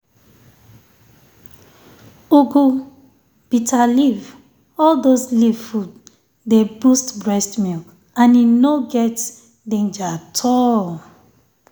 ugu bitterleaf all those leaf food dey boost breast milk and e no um get um danger at all.